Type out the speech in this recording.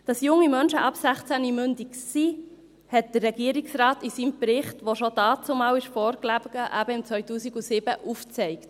Dass junge Menschen ab 16 mündig sind, hat der Regierungsrat in seinem Bericht, welcher bereits damals, 2007, vorlag, aufgezeigt.